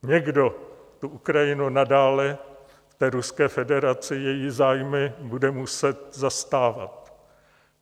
Někdo tu Ukrajinu nadále v Ruské federaci, její zájmy, bude muset zastávat.